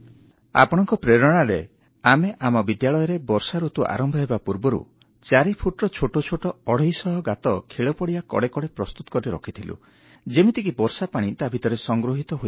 ଆପଣଙ୍କ ପ୍ରେରଣାରେ ଆମେ ଆମ ବିଦ୍ୟାଳୟରେ ବର୍ଷାଋତୁ ଆରମ୍ଭ ହେବା ପୂର୍ବରୁ 4 ଫୁଟର ଛୋଟ ଛୋଟ ଅଢ଼େଇଶ ଗାତ ଖେଳପଡ଼ିଆ କଡ଼େ କଡ଼େ ପ୍ରସ୍ତୁତ କରି ରହୁଥିଲା ଯେମିତିକି ବର୍ଷା ପାଣି ତା ଭିତରେ ସଂଗୃହୀତ ହେଇପାରିବ